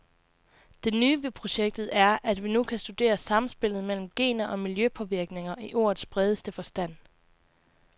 Det nye ved projektet er, at vi nu kan studere samspillet mellem gener og miljøpåvirkninger i ordets bredeste forstand.